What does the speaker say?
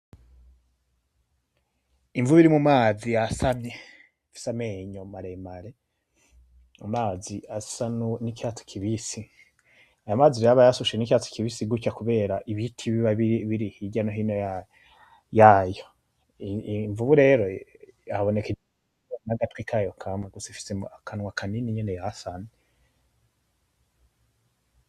Invu iri mumazi yasamye ifise amenya maremare amazi asa nkicatsi kibisi. Aya mazi rero aba yasushe nicatsi kibisi kucya kubera ibiti biba biri hirya nohino yayo. Iyi nvubu rero haboneka nagatwi kayo kamye gusa ifise akanwa kanini nyene yasamye.